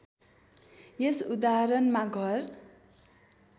यस उदाहरणमा घर